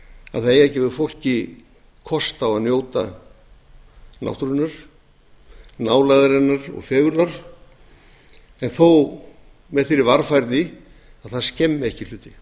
það eigi að gefa fólki kost á að njóta náttúrunnar nálægðarinnar og fegurðar en þó með þeirri varfærni að það skemmi ekki hluti